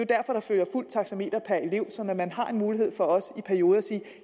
derfor der følger et fuldt taxameter per elev så man har en mulighed for også i perioder at sige at